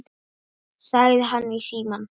sagði hann í símann.